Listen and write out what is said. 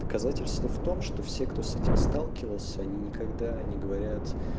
доказательство в том что все кто с этим сталкивался они никогда не говорят